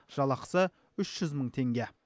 жалақысы үш жүз мың теңге